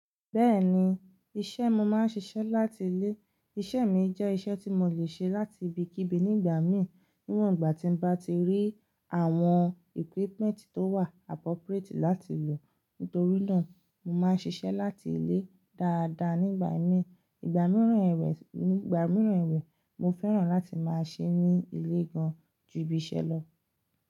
Bẹ́ẹ̀ni, iṣẹ́ mo máa ń ṣiṣẹ́ láti ilé. Iṣẹ́ mi jẹ́ iṣẹ́ tí mo lè ṣe láti ibikíbi nígbà mí, níwọ̀n ìgbà tí n bá ti rí àwọn equipment tó wà appropriate láti lò. Nítorí náà, mo máa ń ṣiṣẹ́ láti ilé dáadáa nígbà mí. Ìgbà mìíràn ẹ̀wẹ̀, ígbà mìíràn ẹ̀wẹ̀, mo fẹ́ràn láti máa ṣee ní ilé gan-an ju ibi iṣẹ́ lọ.